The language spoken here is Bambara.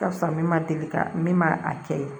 Ka fisa min ma deli ka min ma a kɛ ye